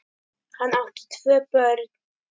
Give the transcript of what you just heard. Hann átti tvö börn.